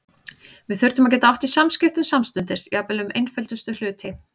Við þurftum að geta átt í samskiptum samstundis, jafnvel um einföldustu hluti.